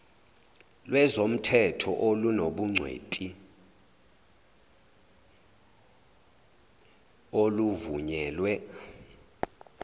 lwezomthetho olunobungwenti oluvunyelwe